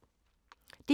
DR1